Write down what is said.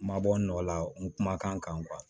N ma bɔ n nɔ la n kumakan kan